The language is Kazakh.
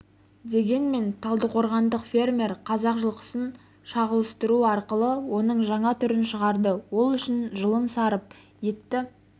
дегенмен талдықорғандық фермер қазақ жылқысын шағылыстыру арқылы оның жаңа түрін шығарды ол үшін жылын сарып етті